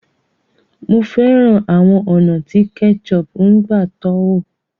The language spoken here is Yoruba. Mo fẹ́ràn àwọn ọ̀nà tí ketchup ń gbà tọ́wò.